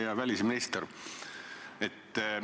Hea välisminister!